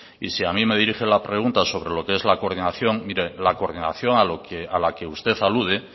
y si a mí me dirige la pregunta sobre lo que es la coordinación mire la coordinación a la que usted alude